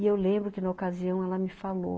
E eu lembro que na ocasião ela me falou,